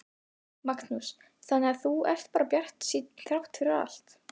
Magnús: Þannig að þú ert bara bjartsýnn þrátt fyrir allt?